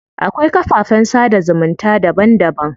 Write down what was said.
Akwai kafafen sada zumunta daban daban.